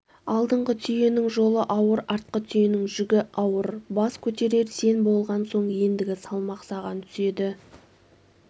алдыңғы түйенің жолы ауыр артқы түйенің жүгі ауыр бас көтерер сен болған соң ендігі салмақ саған түседі